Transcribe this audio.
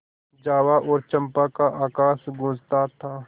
जावा और चंपा का आकाश गँूजता था